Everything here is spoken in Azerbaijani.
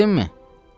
Tutabildinmi?